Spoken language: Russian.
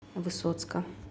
высоцка